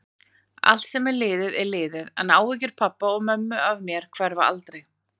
Allt sem er liðið er liðið, en áhyggjur pabba og mömmu af mér hverfa aldrei.